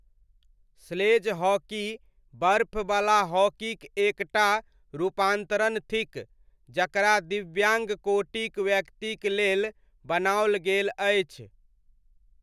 Sledge hockey बर्फवला हॉकीक एक टा रूपान्तरण थिक जकरा दिव्याङ्ग कोटिक व्यक्तिक लेल बनाओल गेल अछि।